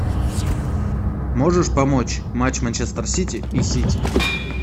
можешь помочь матч манчестер сити и сити